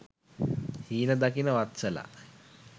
හීන දකින වත්සලා